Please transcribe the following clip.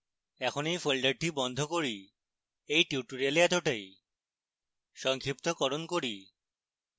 এখন এই folder বন্ধ করি এই টিউটোরিয়ালে এতটাই সংক্ষিপ্তকরণ করি